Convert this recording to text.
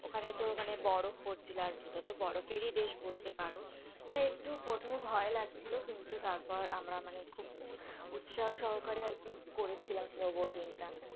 ওখানে তো ওখানে বরফ পড়ছিল, আর এটা তো বরফেরই দেশ বলতে পারো, তাই একটু প্রথমে ভয় লাগছিলো কিন্তু তারপর আমরা মানে খুব উৎসাহ সহকারে আর কি করেছিলাম snow boating টা,